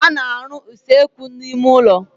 A na-arụ usekwu n'ime ụlọ.